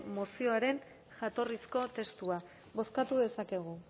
mozioaren jatorrizko testua bozkatu dezakegu